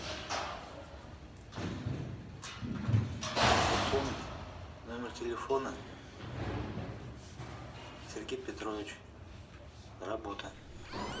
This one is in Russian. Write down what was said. пополнить номер телефона сергей петрович работа